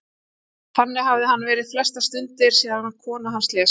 Þannig hafði hann verið flestar stundir síðan að kona hans lést.